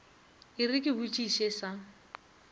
e re ke botšiše sa